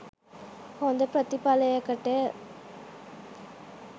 හොඳ ප්‍රතිඵලයකට